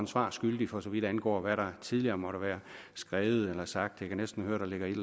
svar skyldig for så vidt angår hvad der tidligere måtte være skrevet eller sagt jeg kan næsten høre at der ligger et